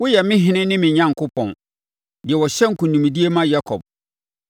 Woyɛ me Ɔhene ne me Onyankopɔn, deɛ ɔhyɛ nkonimdie ma Yakob.